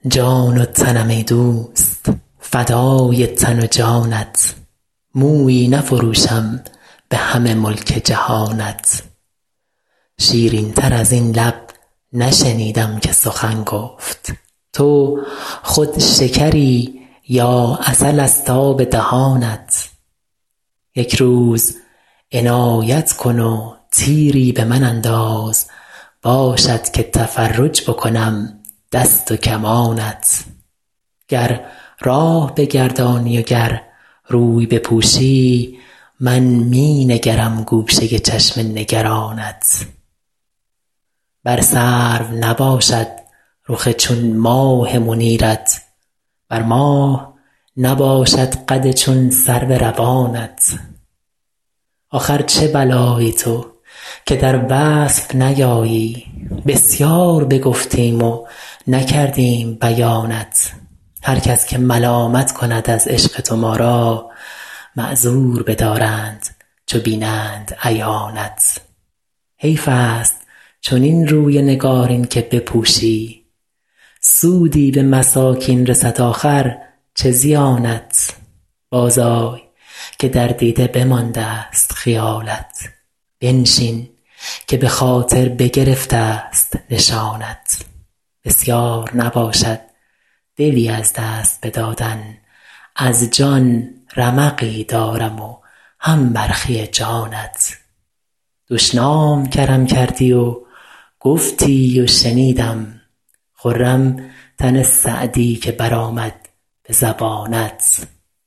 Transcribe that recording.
جان و تنم ای دوست فدای تن و جانت مویی نفروشم به همه ملک جهانت شیرین تر از این لب نشنیدم که سخن گفت تو خود شکری یا عسل ست آب دهانت یک روز عنایت کن و تیری به من انداز باشد که تفرج بکنم دست و کمانت گر راه بگردانی و گر روی بپوشی من می نگرم گوشه چشم نگرانت بر سرو نباشد رخ چون ماه منیرت بر ماه نباشد قد چون سرو روانت آخر چه بلایی تو که در وصف نیایی بسیار بگفتیم و نکردیم بیانت هر کس که ملامت کند از عشق تو ما را معذور بدارند چو بینند عیانت حیف ست چنین روی نگارین که بپوشی سودی به مساکین رسد آخر چه زیانت بازآی که در دیده بماندست خیالت بنشین که به خاطر بگرفت ست نشانت بسیار نباشد دلی از دست بدادن از جان رمقی دارم و هم برخی جانت دشنام کرم کردی و گفتی و شنیدم خرم تن سعدی که برآمد به زبانت